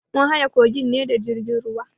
Mun haye kogin ne da jirgin ruwa.